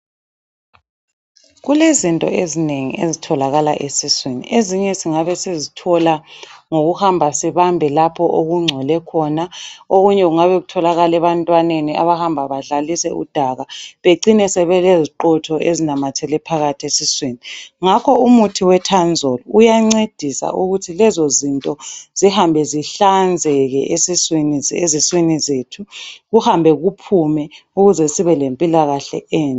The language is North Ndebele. Kulezinto ezinengi ezitholakala esiswini. Ezinye singabe sizithola ngokuhamba sibambe lapho okungcole khona, okunye kungabe kutholakala ebantwaneni abahamba badlalise udaka becine sebeleziqotho ezinamathele phakathi esiswini. Ngakho umuthi weTanzol uyancedisa ukuthi lezo zinto zihambe zihlanzeke eziswini zethu kuhambe kuphume ukuze sibe lempilakahle enhle.